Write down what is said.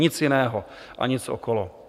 Nic jiného a nic okolo.